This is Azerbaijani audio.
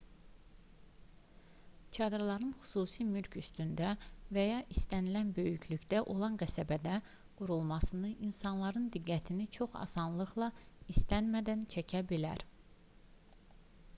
çadırların xüsusi mülk üstündə və ya istənilən böyüklükdə olan qəsəbədə qurulması insanların diqqətini çox asanlıqla istənmədən çəkə bilər